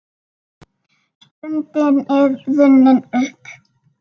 Stundin er runnin upp.